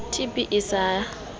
tb e ne e sa